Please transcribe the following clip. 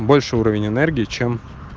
больше уровень энергии чем